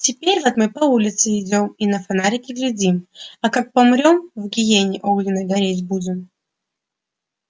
теперь вот мы по улице идём и на фонарики глядим а как помрём в гиене огненной гореть будем